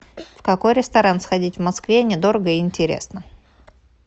в какой ресторан сходить в москве недорого и интересно